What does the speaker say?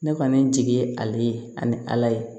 Ne kɔni jigi ye ale ye ani ala ye